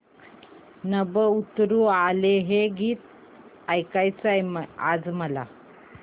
नभं उतरू आलं हे गीत ऐकायचंय आज मला